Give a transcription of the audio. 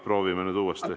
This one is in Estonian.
Proovime nüüd uuesti.